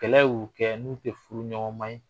Kɛlɛ y'u kɛ n'u tɛ furuɲɔgɔnma ye